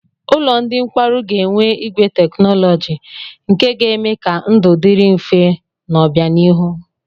Ụlọ ndị nkwarụ ga-enwe igwe teknọlọjị nke ga-eme ka ndụ dịrị mfe n'obịanihu.